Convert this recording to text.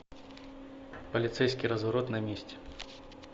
полицейский разворот на месте